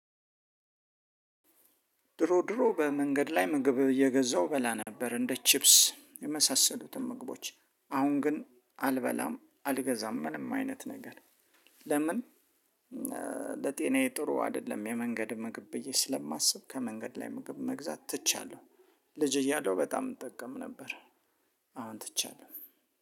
ድሮ ድሮ በመንገድ ላይ ምግብ እየገዛው በላ ነበር እንደ ቺፕስ የመሳሰሉትን ምግቦች አሁን ግን አልበላም አልገዛም ምንም አይነት ነገር። ለምን? ለጤናዬ ጥሩ አይደለም የመንገድ ምግብ ብዬ ስለማስብ ከመንገድ ላይ ምግብ መግዛት ትቻለሁ። ልጅ እያለሁ በጣም እጠቀም ነበር። አሁን ትቻለሁ።